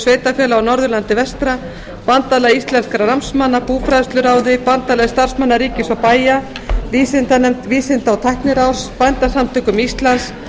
sveitarfélaga á norðurlandi vestra bandalagi íslenskra námsmanna búfræðsluráði bandalagi starfsmanna ríkis og bæja vísindanefnd vísinda og tækniráðs bændasamtökum íslands